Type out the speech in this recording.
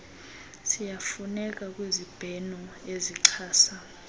ziyafuneka kwizibheno ezichasa